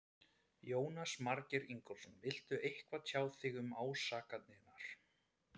Jónas Margeir Ingólfsson: Viltu eitthvað tjá þig um ásakanirnar?